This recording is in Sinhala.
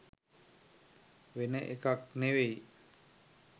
වෙන එකක් නෙවෙයි.